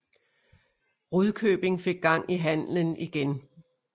Rudkøbing fik gang i handelen igen